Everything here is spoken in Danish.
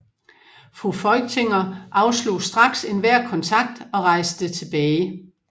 Fru Feuchtinger afslog straks enhver kontakt og rejste tilbage